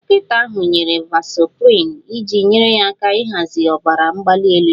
Dọkịta ahụ nyere vasoprin iji nyere aka ịhazi ọbara mgbali elu ya